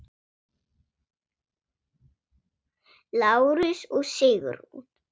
Lárus og Sigrún.